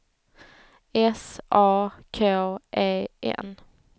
S A K E N